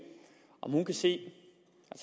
om hun kan se